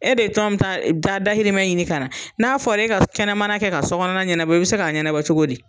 E de tɔn ta da dahirimɛ ɲini kana, n'a fɔr'e ka kɛnɛmana kɛ ka sɔ kɔnɔna ɲɛnabɔ i be se k'a ɲɛnabɔ cogo di?